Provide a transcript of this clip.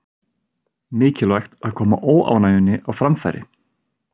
Mikilvægt að koma óánægjunni á framfæri